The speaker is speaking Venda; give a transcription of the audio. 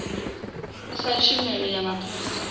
sa tshumelo ya mapholisa a